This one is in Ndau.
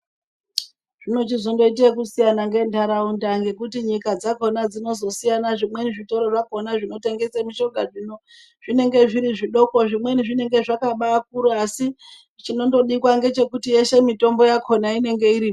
Zvinochizongoite zvekusiyana ngentaraunda ngekuti nyika dzakhona dzinozosiyana zvimweni zvitoro zvakhona zvinotengese mishonga zvino zvinonge zviri zvidoko. Zvimweni zvinenge zvakabakura asi chinondodikwa ngechekuti yeshe mitombo yakhona inenge irimo.